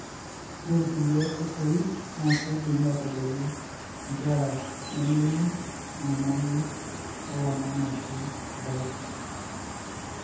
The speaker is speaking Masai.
Ore nkulie oitoi na kidim aitabolu nkeraa nemeino enyamali ewangan ashu dyes.